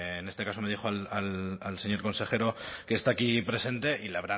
en este caso me dirijo al señor consejero que está aquí presente y le